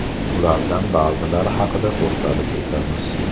Ulardan ba’zilari haqida to‘xtalib o‘tamiz.